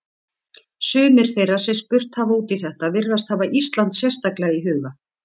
Sumir þeirra sem spurt hafa út í þetta virðast hafa Ísland sérstaklega í huga.